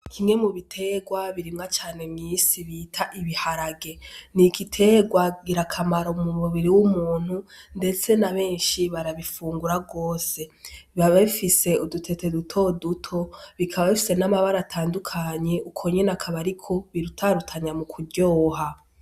Kimwe mu biterwa birimwa cane mw'isi bita ibiharage n'igiterwa ngira kamaro mu mubiri w'umuntu ndetse na beshi barabifungura gose biba bifise udutete dutoduto bikaba bifise n'amabara atandukanye uko nyene aka ariko birutarutanya mu kuryoha.